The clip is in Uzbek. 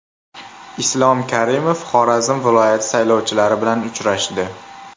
Islom Karimov Xorazm viloyati saylovchilari bilan uchrashdi.